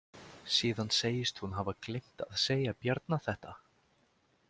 Síðan segist hún hafa gleymt að segja Bjarna þetta.